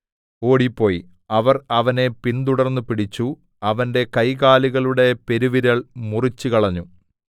അപ്പോൾ അദോനിബേസെക്ക് ഓടിപ്പോയി അവർ അവനെ പിന്തുടർന്നു പിടിച്ചു അവന്റെ കൈകാലുകളുടെ പെരുവിരൽ മുറിച്ചുകളഞ്ഞു